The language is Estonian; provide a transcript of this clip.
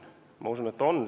Ma usun, et on.